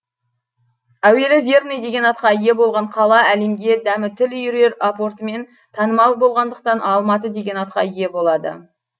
әуелі верный деген атқа ие болған қала әлемге дәмі тіл үйірер апортымен танымал болғандықтан алматы деген атқа ие болады